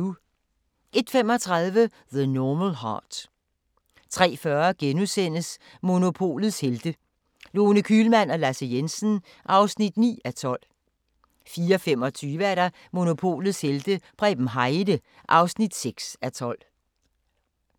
01:35: The Normal Heart 03:40: Monopolets Helte – Lone Kühlmann og Lasse Jensen (9:12)* 04:25: Monopolets helte - Preben Heide (6:12)